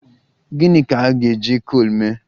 Gịni ka a ga-eji coal mee?